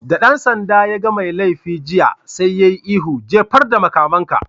Da ɗan sanda yaga mai laifi jiya, sai ya yi ihu "Jefar da makamanka!